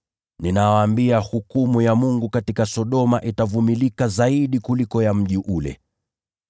Ninawaambia, itakuwa rahisi zaidi kwa Sodoma kustahimili katika siku ile kuliko mji ule.